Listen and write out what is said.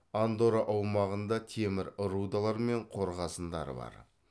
андорра аумағында темір рудалары мен қорғасындары бар